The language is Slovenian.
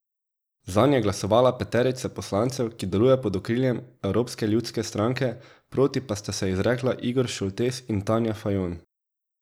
Zanj je glasovala peterica poslancev, ki deluje pod okriljem Evropske ljudske stranke, proti pa sta se izrekla Igor Šoltes in Tanja Fajon.